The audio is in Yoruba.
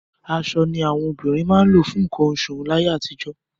Aṣọ ni àwọn obìnrin máa ń lò fún nǹkan oṣù láyé àtijọ́.